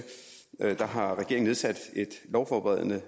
at regeringen har nedsat et lovforberedende